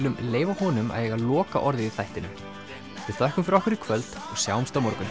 leyfa honum að eiga lokaorðið í þættinum við þökkum fyrir okkur í kvöld og sjáumst á morgun